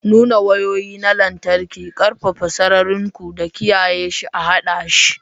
Nuna wayoyi na lantarki, ƙarfafa sararin ku da kiyaye shi a haɗa shi